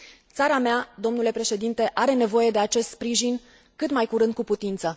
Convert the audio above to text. Țara mea, domnule președinte, are nevoie de acest sprijin cât mai curând cu putință.